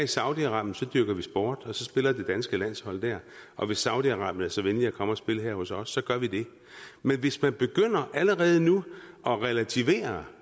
i saudi arabien så dyrker vi sport og så spiller det danske landshold der og hvis saudi arabien er så venlige at komme og spille her hos os så gør de det men hvis man begynder allerede nu at relativere